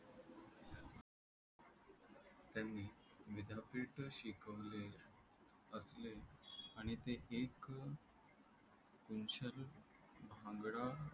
त्यांनी विद्यापीठ शिकवले आणि ते एक भांगडा